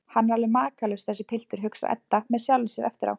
Hann er alveg makalaus, þessi piltur, hugsar Edda með sjálfri sér eftir á.